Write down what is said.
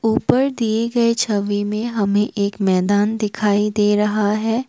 ऊपर दिए गए छवि में हमें एक मैदान दिखाई दे रहा है।